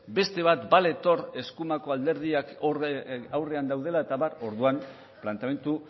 beste bat baletor eskumako alderdiak aurrean daudela eta abar orduan planteamendu